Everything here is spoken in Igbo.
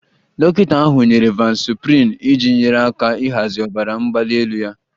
Dọkịta ahụ nyere vasoprin iji nyere aka ịhazi ọbara mgbali elu ya